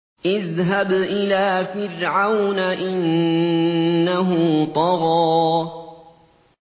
اذْهَبْ إِلَىٰ فِرْعَوْنَ إِنَّهُ طَغَىٰ